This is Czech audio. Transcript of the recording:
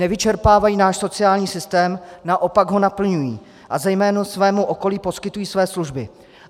Nevyčerpávají náš sociální systém, naopak ho naplňují a zejména svému okolí poskytují své služby.